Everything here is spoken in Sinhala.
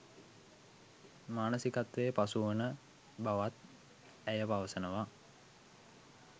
මානසිකත්වයේ පසු වන බවත් ඇය පවසනවා